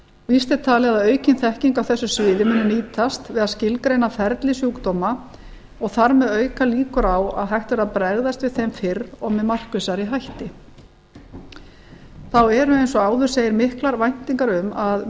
víst er talið að aukin þekking á þessu sviði muni nýtast við að skilgreina ferli sjúkdóma og þar með auka líkur að hægt verði að bregðast við þeim fyrr og með markvissari hætti þá eru eins og áður segir miklar væntingar um að